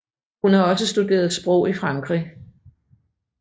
Hun har også studeret sprog i Frankrig